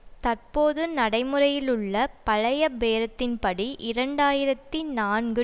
தற்போது நடைமுறையிலுள்ள பழைய பேரத்தின்படி இரண்டு ஆயிரத்தி நான்கு